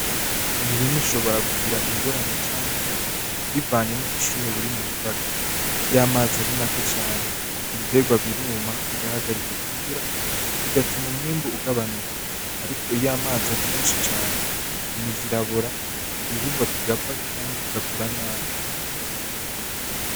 Imirima ishobora kugira ingorane canke inyungi bivanye n’ubushuhe buri mubutaka, iyamazi ari make cane ibiterwa biruma bigahagarika gukura bigatuma umwimbu ugabanuka ariko iyamazi ari meshi cane imizi irabora Igihingwa kigapfa canke kigakura nabi